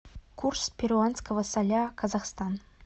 курс перуанского соля казахстан